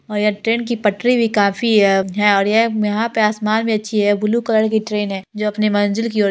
और यहाँ ट्रेन की पटरी भी काफी है और ये यहाँ पे आसमान भी अच्छी है ब्लू कलर की ट्रेन है जो अपनी मंजिल की ओर--